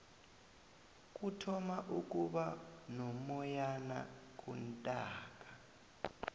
kuthoma ukuba nomoyana kuntaaka